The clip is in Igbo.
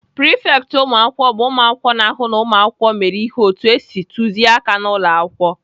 Prifekt ụmụakwụkwọ bụ ụmụakwụkwọ na-ahụ na ụmụakwụkwọ mere ihe otu esi tuzie aka n'ụlọakwụkwọ.